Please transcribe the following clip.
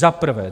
Za prvé.